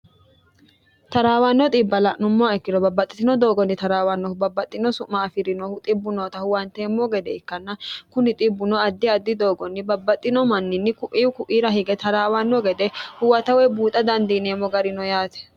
taraawanno xiibba la'nummoa ikkiro babbaxxitino doogonni taraawannohu babbaxxino su'ma afi'rinohu xibbu noota huwanteemmo gede ikkanna kuni xibuno addi addi doogonni babbaxxino manninni ku'i ku'iira hige taraawanno gede huwatawe buuxa dandiineemmo garino yaate